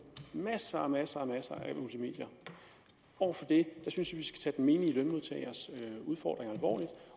masser og masser af multimedier over for det synes tage den menige lønmodtagers udfordringer alvorligt